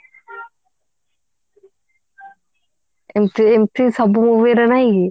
ଏମିତି ଏମିତି ସବୁ movie ର ନାହିଁ କି